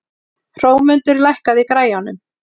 Hrómundur, lækkaðu í græjunum.